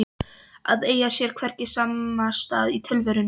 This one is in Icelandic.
Að eiga sér hvergi samastað í tilverunni